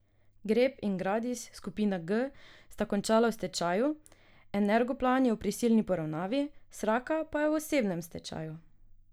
Grep in Gradis skupina G sta končala v stečaju, Energoplan je v prisilni poravnavi, Sraka pa je v osebnem stečaju.